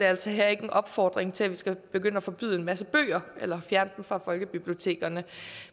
altså ikke en opfordring til at vi skal begynde at forbyde en masse bøger eller fjerne dem fra folkebibliotekerne